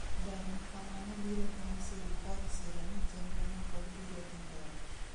Dar makamano biro bang' sirikal siro ni chenro no pod biro dhi mbele